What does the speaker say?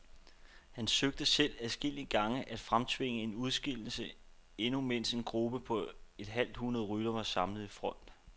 Han søgte selv adskillige gange at fremtvinge en udskillelse, endnu mens en gruppe på et halvt hundrede ryttere var samlet i front.